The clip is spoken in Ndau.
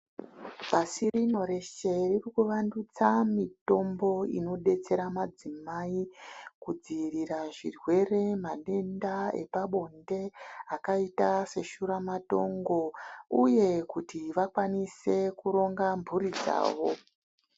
Pasi rino rese riri kuvandutsa mutombo inodetsera madzimai kudzivirira zvirwere matenda epabonde akaita seshura matongo uye kuti vakwanise kuronga mhuri dzawo.